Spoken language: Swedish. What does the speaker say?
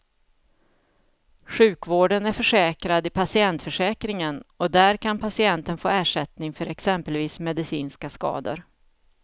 Sjukvården är försäkrad i patientförsäkringen och där kan patienten få ersättning för exempelvis medicinska skador.